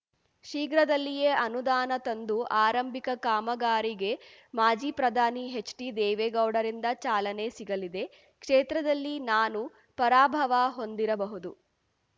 ಶೀಘ್ರದಲ್ಲಿಯೇ ಅನುದಾನ ತಂದು ಆರಂಭಿಕ ಕಾಮಗಾರಿಗೆ ಮಾಜಿ ಪ್ರಧಾನಿ ಹೆಚ್‌ಡಿ ದೇವೇಗೌಡರಿಂದ ಚಾಲನೆ ಸಿಗಲಿದೆ ಕ್ಷೇತ್ರದಲ್ಲಿ ನಾನು ಪರಾಭವ ಹೊಂದಿರಬಹುದು